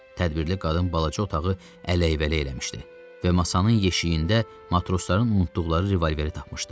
Tədbirli qadın balaca otağı ələyk-vələyk eləmişdi və masanın yeşiyində matrosların unutduqları revolveri tapmışdı.